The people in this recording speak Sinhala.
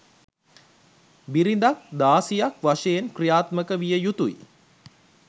බිරිඳක් දාසියක් වශයෙන් ක්‍රියාත්මක විය යුතුයි